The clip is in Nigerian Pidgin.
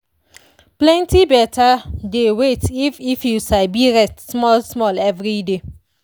plenty better dey wait if if you sabi rest small-small everyday.